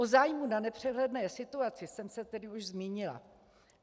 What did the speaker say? O zájmu na nepřehledné situaci jsem se tedy už zmínila.